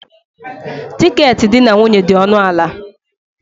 Tiketi di na nwunye dị ọnụ ala.